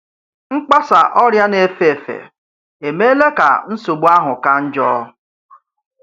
Mgbàsa ọrià na-efe efe emeela kà nsogbu áhù kà njọ.